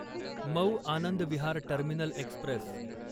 Mau Anand Vihar terminal Express